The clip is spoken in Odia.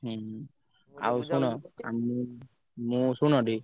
ହୁଁ ଆଉ ଶୁଣ ଆ ମୁଁ ମୁଁ ଶୁଣ ଟିକେ।